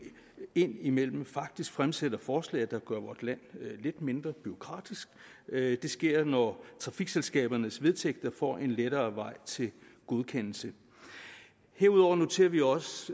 indimellem faktisk fremsætter forslag der gør vort land lidt mindre bureaukratisk det sker når trafikselskabernes vedtægter får en lettere vej til godkendelse herudover noterer vi os